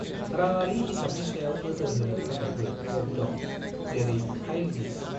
राङारि हिसाबनि सायाव नोजोर होनो थाखायबो एप दं, जेरै फाइल डिस।